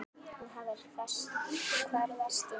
Og hvar varstu í nótt?